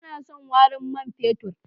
Ba na son warin man fetur.